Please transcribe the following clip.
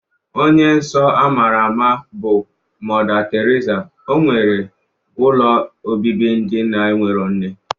Onye nsọ ama ama bụ Mọda Teriza, nwere ụlọ obibi ndị na-enwerọ nne.